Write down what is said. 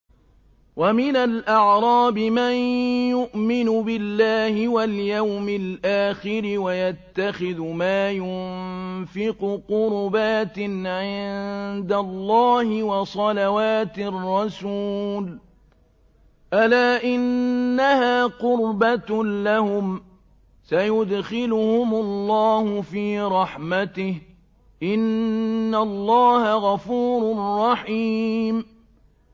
وَمِنَ الْأَعْرَابِ مَن يُؤْمِنُ بِاللَّهِ وَالْيَوْمِ الْآخِرِ وَيَتَّخِذُ مَا يُنفِقُ قُرُبَاتٍ عِندَ اللَّهِ وَصَلَوَاتِ الرَّسُولِ ۚ أَلَا إِنَّهَا قُرْبَةٌ لَّهُمْ ۚ سَيُدْخِلُهُمُ اللَّهُ فِي رَحْمَتِهِ ۗ إِنَّ اللَّهَ غَفُورٌ رَّحِيمٌ